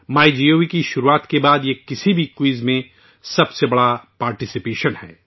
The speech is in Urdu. مائی گوو کے آغاز کے بعد سے کسی بھی کوئز میں یہ سب سے بڑی شرکت ہے